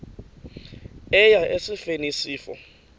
eya esifeni isifo